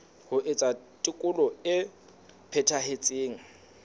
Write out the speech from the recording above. ho etsa tekolo e phethahetseng